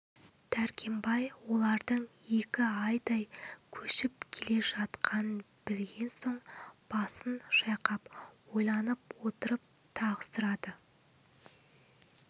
дәркембай олардың екі айдай көшіп келе жатқанын білген соң басын шайқап ойланып отырып тағы сұрады